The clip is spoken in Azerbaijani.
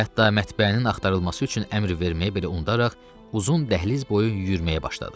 Hətta mətbəənin axtarılması üçün əmr verməyi belə unudaraq, uzun dəhliz boyu yüyürməyə başladı.